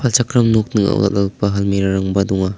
palchakram nok ning·ao dal·dalgipa halmira rangba donga.